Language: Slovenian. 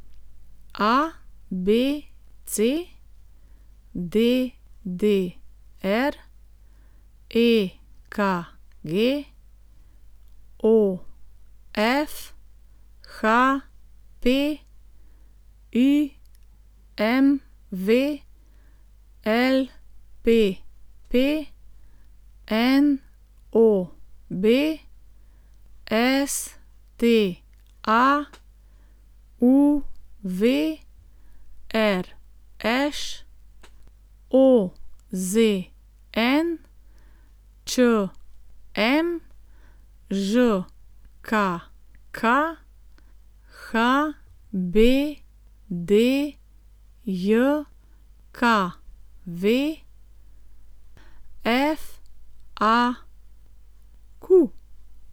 ABC, DDR, EKG, OF, HP, IMV, LPP, NOB, STA, UV, RŠ, OZN, ČM, ŽKK, HBDJKV, FAQ.